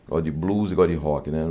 Gosto de blues, e gosto de rock, né?